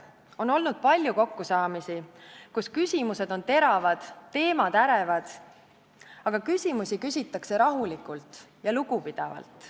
On olnud palju kokkusaamisi, kus küsimused on olnud teravad, teemad ärevad, aga on küsitud rahulikult ja lugupidavalt.